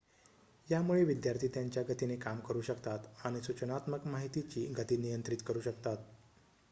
यामुळे विद्यार्थी त्यांच्या गतीने काम करु शकतात आणि सूचनात्मक माहितीची गती नियंत्रित करु शकतात